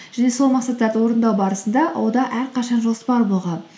және сол мақсаттарды орындау барысында әрқашан жоспар болған